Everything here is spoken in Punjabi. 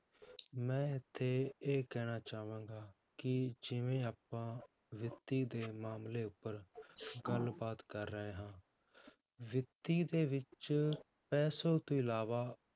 ਮੈਂ ਇੱਥੇ ਇਹ ਕਹਿਣਾ ਚਾਹਾਂਗਾ ਕਿ ਜਿਵੇਂ ਆਪਾਂ ਵਿੱਤੀ ਦੇ ਮਾਮਲੇ ਉੱਪਰ ਗੱਲਬਾਤ ਕਰ ਰਹੇ ਹਾਂ ਵਿੱਤੀ ਦੇ ਵਿੱਚ ਪੈਸੇ ਤੋਂ ਇਲਾਵਾ